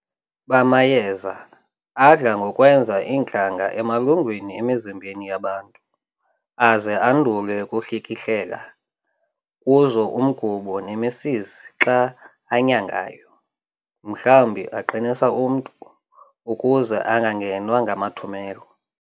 bamayeza, adla ngokwenza iintlanga emalungwini emizimbeni yabantu, aze andule ukuhlikihlela kuzo umgubo nemisizi xa anyangayo, mhlawumbi aqinisa umntu, ukuze angangenwa ngamathumelo.